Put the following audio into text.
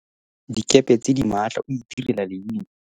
dikepe tse di maatla o itirela leina